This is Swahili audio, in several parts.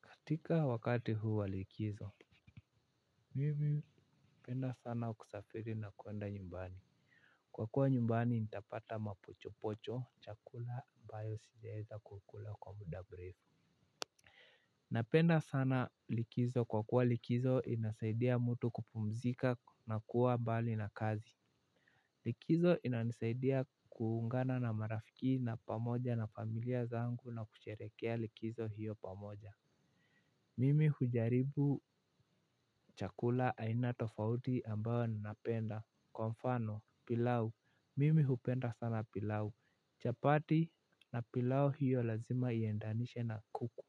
Katika wakati huwa likizo. Mimi napenda sana kusafiri na kuenda nyumbani. Kwa kuwa nyumbani nitapata mapochopocho, chakula ambayo sijaweza kukula kwa muda mrefu. Napenda sana likizo kwa kuwa likizo inasaidia mtu kupumzika na kuwa mbali na kazi. Likizo inasaidia kuungana na marafiki na pamoja na familia zangu na kusherehekea likizo hiyo pamoja. Mimi hujaribu chakula aina tofauti ambayo ninapenda, kwa mfano pilau. Mimi hupenda sana pilau, chapati na pilau hiyo lazima iendanishe na kuku.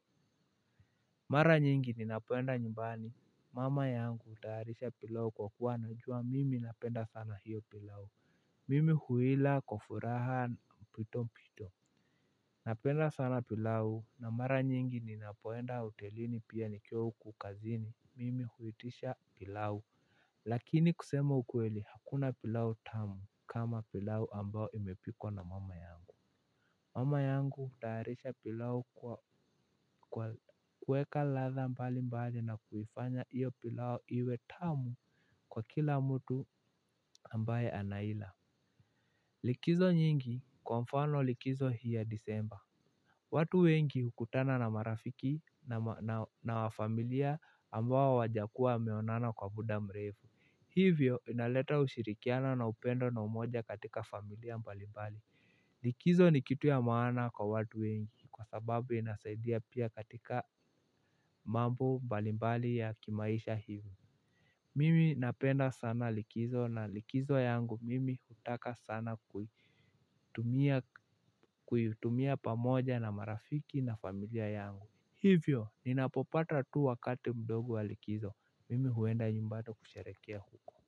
Mara nyingi ninapoenda nyumbani, mama yangu hutayaharisha pilau kwa kuwa anajua mimi napenda sana hiyo pilau mimi huila kwa furaha mpwito mpwito. Napenda sana pilau na mara nyingi ninapoenda hotelini pia nikiwa huku kazini, mimi huitisha pilau. Lakini kusema ukweli hakuna pilau tamu kama pilau ambayo imepikwa na mama yangu. Mama yangu hutaharisha pilau kwa kuweka ladha mbali mbali na kuifanya hiyo pilau iwe tamu kwa kila mtu ambaye anaila. Likizo nyingi, kwa mfano likizo hii ya disemba watu wengi hukutana na marafiki na familia ambao hawajakuwa wameonana kwa muda mrefu. Hivyo inaleta ushirikiano na upendo na umoja katika familia mbalimbali. Likizo ni kitu ya maana kwa watu wengi kwa sababu inasaidia pia katika mambo mbalimbali ya kimaisha hivyo. Mimi napenda sana likizo na likizo yangu mimi hutaka sana kuitumia pamoja na marafiki na familia yangu. Hivyo, ninapopata tu wakati mdogo wa likizo. Mimi huenda nyumbani kusherehekea huko.